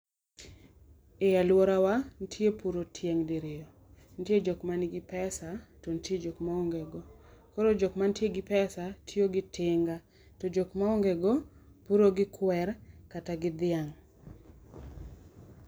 E aluora wa, nitie puro tieng' diriyo. Nitie jokma nigi pesa, to nitie jokma onge go. Koro jokma nitie gi pesa tiyo gi tinga. To jok ma onge go, puro gi kwer kata gi dhiang'.